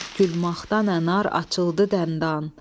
gül maxtan ənar açıldı dəndan.